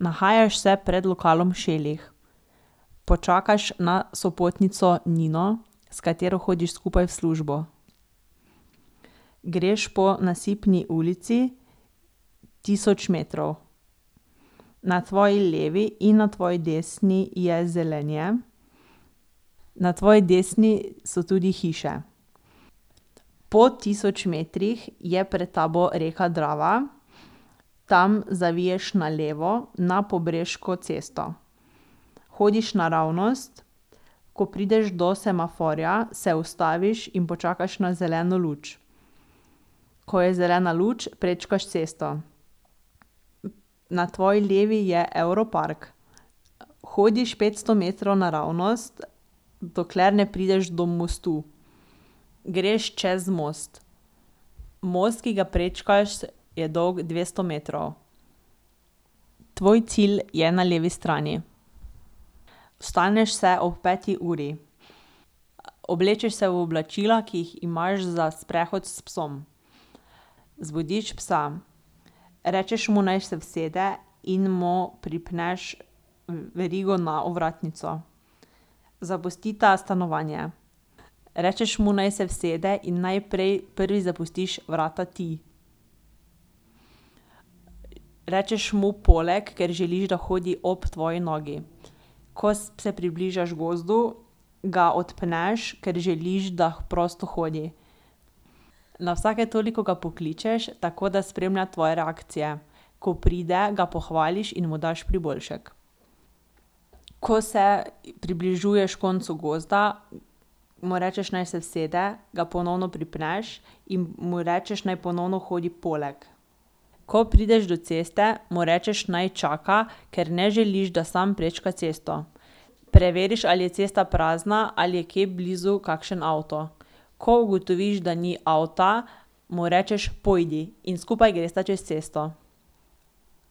Nahajaš se pred lokalom Šelih. Počakaš na sopotnico Nino, s katero hodiš skupaj v službo. Greš po Nasipni ulici tisoč metrov. Na tvoji levi in na tvoji desni je zelenje. Na tvoji desni so tudi hiše. Po tisoč metrih je pred tabo reka Drava. Tam zaviješ na levo na Pobreško cesto. Hodiš naravnost, ko prideš do semaforja, se ustaviš in počakaš na zeleno luč. Ko je zelena luč, prečkaš cesto. Na tvoji levi je Europark. Hodiš petsto metrov naravnost, dokler ne prideš do mostu. Greš čez most. Most, ki ga prečkaš, je dolgo dvesto metrov. Tvoj cilj je na levi strani. Vstaneš se ob peti uri. Oblečeš se v oblačila, ki jih imaš za sprehod s psom. Zbudiš psa. Rečeš mu, naj se usede in mu pripneš verigo na ovratnico. Zapustita stanovanje. Rečeš mu, naj se usede, in najprej prvi zapustiš vrata ti. Rečeš mu: "Poleg," ker želiš, da hodi ob tvoji nogi. Ko se približaš gozdu, ga odpneš, ker želiš, da prosto hodi. Na vsake toliko ga pokličeš, tako da spremlja tvoje reakcije. Ko pride, ga pohvališ in mu daš priboljšek. Ko se približuješ koncu gozda, mu rečeš, naj se usede, ga ponovno pripneš in mu rečeš, naj ponovno hodi poleg. Ko prideš do ceste, mu rečeš, naj čaka, ker ne želiš, da sam prečka cesto. Preveriš, ali je cesta prazna, ali je kje blizu kakšen avto. Ko ugotoviš, da ni avta, mu rečeš: "Pojdi," in skupaj gresta čez cesto.